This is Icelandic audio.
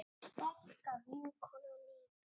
Sterka vinkona mín.